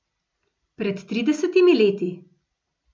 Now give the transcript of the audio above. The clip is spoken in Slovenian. Pred tridesetimi leti.